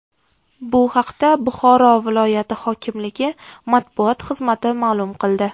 Bu haqda Buxoro viloyat hokimligi matbuot xizmati ma’lum qildi .